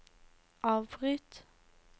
avbryt